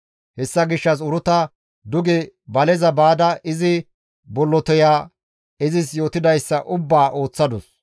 Hessa gishshas Uruta duge baleza baada izi bolloteya izis yootidayssa ubbaa ooththadus.